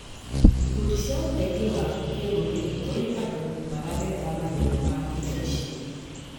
Ikundi cia ũteithio wa kĩrũrĩrĩ kũrĩ andũ maragerera mathĩna ma kĩmeciria.